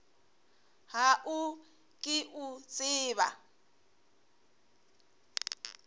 ga o ke o tseba